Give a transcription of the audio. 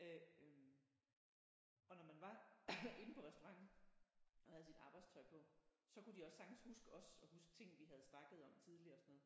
Øh og når man var inde på restauranten og havde sit arbejdstøj på så kunne de også sagtens huske os og huske ting vi havde snakket om tidligere og sådan noget